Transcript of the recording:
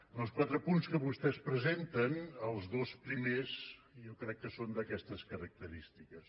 dels quatre punts que vostès presenten els dos primers jo crec que són d’aquestes característiques